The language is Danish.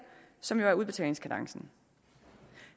som jo er udbetalingskadencen